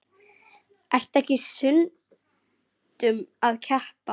Ertu ekki stundum að keppa?